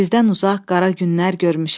Sizdən uzaq qara günlər görmüşəm.